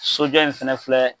Sojɔ in fɛnɛ filɛ